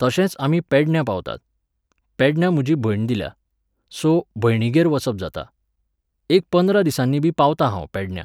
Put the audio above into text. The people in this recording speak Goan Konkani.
तशेंच आमी पेडण्या पावतात. पेडण्या म्हजी भयण दिल्या. सो, भयणीगेर वचप जाता. एक पंदरा दिसांनीबी पावतां हांव पेडण्यां.